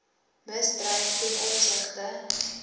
misdryf ten opsigte